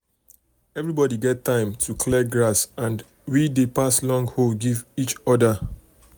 um everybody get time um to um clear grass and we dey pass long hoe give each other. other.